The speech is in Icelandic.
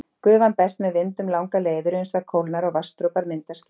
Gufan berst með vindum langar leiðir uns það kólnar og vatnsdropar mynda ský.